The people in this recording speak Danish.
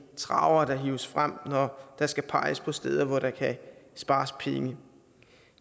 travere der hives frem når der skal peges på steder hvor der kan spares penge